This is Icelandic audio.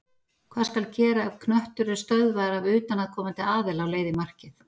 Hvað skal gera ef knöttur er stöðvaður af utanaðkomandi aðila á leið í markið?